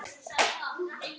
Hann minnti á hafið.